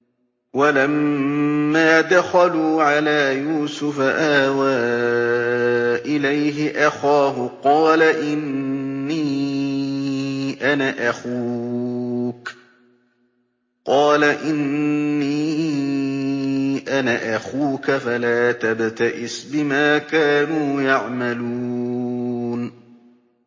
وَلَمَّا دَخَلُوا عَلَىٰ يُوسُفَ آوَىٰ إِلَيْهِ أَخَاهُ ۖ قَالَ إِنِّي أَنَا أَخُوكَ فَلَا تَبْتَئِسْ بِمَا كَانُوا يَعْمَلُونَ